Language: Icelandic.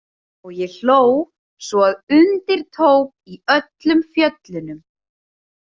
Og ég hló svo að undir tók í öllum fjöllunum.